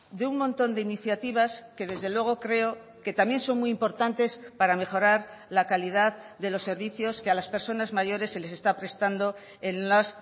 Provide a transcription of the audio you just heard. de un montón de iniciativas que desde luego creo que también son muy importantes para mejorar la calidad de los servicios que a las personas mayores se les está prestando en las